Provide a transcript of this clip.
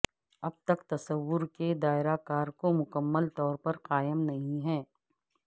اب تک تصور کے دائرہ کار کو مکمل طور پر قائم نہیں ہے